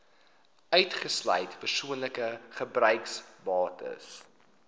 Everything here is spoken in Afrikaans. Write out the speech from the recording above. uitgesluit persoonlike gebruiksbates